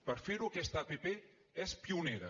per fer ho aquesta app és pionera